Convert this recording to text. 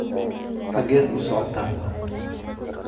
xageed u socotaan